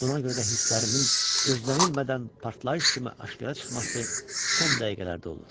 Buna görə də hisslərimin gözlənilmədən partlayış kimi aşkara çıxması son dəqiqələrdə olur.